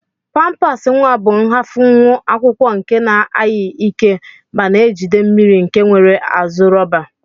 Pampas nwa bu nghafunwu akwụkwọ nke na aghi ike mana ejide mmiri nke nwere azu rọba.